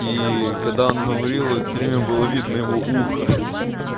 ии когда он говорил это время было видно его ухо ха-ха